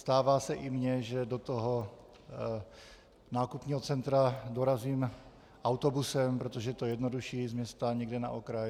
Stává se i mně, že do toho nákupního centra dorazím autobusem, protože je to jednodušší, z města někam na okraj.